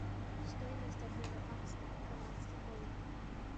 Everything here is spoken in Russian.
стоимость обмена баксов канадских долларов